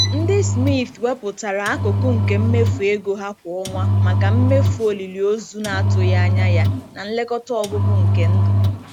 Ndị Smith wepụtara akụkụ nke mmefu ego ha kwa ọnwa maka mmefu olili ozu na-atụghị anya ya na nlekọta ọgwụgwụ nke ndụ.